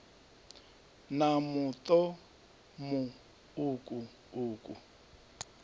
na muṱo mu uku uku